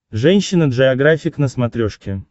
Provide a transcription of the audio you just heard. женщина джеографик на смотрешке